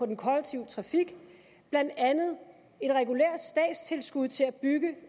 den kollektive trafik blandt andet et regulært statstilskud til at bygge